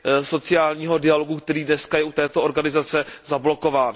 sociálního dialogu, který dneska je u této organizace zablokován.